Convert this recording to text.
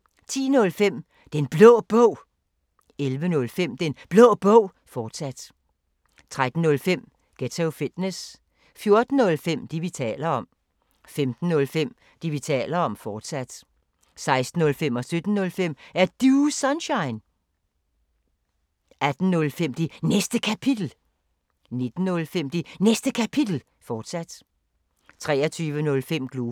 10:05: Den Blå Bog 11:05: Den Blå Bog, fortsat 13:05: Ghetto Fitness 14:05: Det, vi taler om 15:05: Det, vi taler om, fortsat 16:05: Er Du Sunshine? 17:05: Er Du Sunshine? 18:05: Det Næste Kapitel 19:05: Det Næste Kapitel, fortsat 23:05: Globus